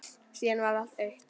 Síðan varð allt autt.